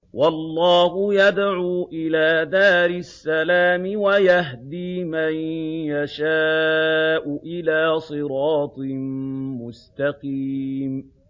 وَاللَّهُ يَدْعُو إِلَىٰ دَارِ السَّلَامِ وَيَهْدِي مَن يَشَاءُ إِلَىٰ صِرَاطٍ مُّسْتَقِيمٍ